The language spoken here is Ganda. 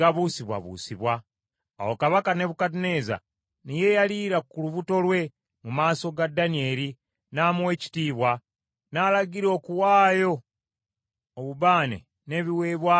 Awo Kabaka Nebukadduneeza ne yeeyaliira ku lubuto lwe mu maaso ga Danyeri n’amuwa ekitiibwa, n’alagira okuwaayo obubaane n’ebiweebwayo eri Danyeri.